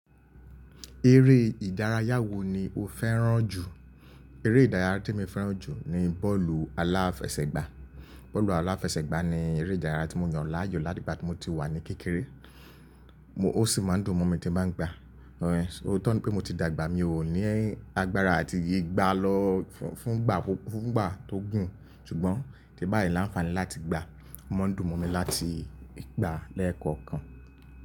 Eré ìdárayá wo ni o fẹ́ràn jù? Eré ìdárayá tí mo fẹ́ràn jù ni bọ́ọ̀lù aláfẹsẹ̀gbá. Bọ́ọ̀lù aláfẹsẹ̀gbá ni eré ìdárayá tí mo yàn láàyò láti ìgbà tí mo ti wà ní kékeré. Mo, ó sì máa ń dùn mọ́ mi tí ba ń gba. Òótọ́ ni pé mo ti dàgbà, mi ò ní agbára àti gbà lọ fún, fún ìgbà tó gùn. Ṣùgbọ́n ti n báyìí láǹfààní láti gbàá. Ó máa ń dùn mọ́ mi láti gbàá lẹ́ẹ̀kọ̀kan.